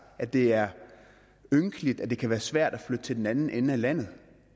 at det er ynkeligt at det kan være svært at flytte til den anden ende af landet